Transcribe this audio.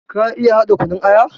Ka iya haɗa kunun aya?